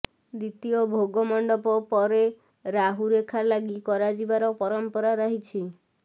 ଦ୍ୱିତୀୟ ଭୋଗମଣ୍ଡପ ପରେ ରାହୁ ରେଖା ଲାଗି କରାଯିବାର ପରମ୍ପରା ରହିଛି